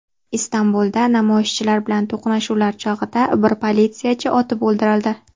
Istanbulda namoyishchilar bilan to‘qnashuvlar chog‘ida bir politsiyachi otib o‘ldirildi.